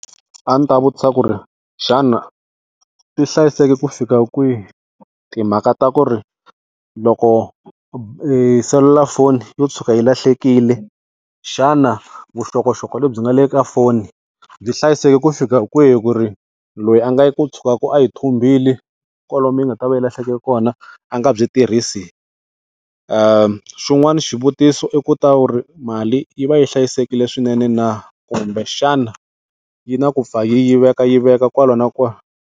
A ndzi ta vutisa ku ri xana ti hlayiseke ku fika kwihi timhaka ta ku ri loko selulafoni yo tshuka yi lahlekile, xana vuxokoxoko lebyi nga le ka foni byi hlayisekile ku fika kwihi ku ri loyi a nga yi ku tshukaka a yi thumbile kwalomu yi nga ta va yi lahleke kona a nga byi tirhisi. Xin'wani xivutiso i ku tiva ku ri mali yi va yi hlayisekile swinene na, kumbexana yi na ku pfa yi yivekayiveka kwala na kwala.